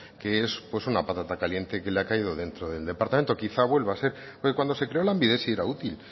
que es una patata caliente que le ha caído dentro del departamento quizá vuelva a ser porque cuando se creó lanbide sí era útil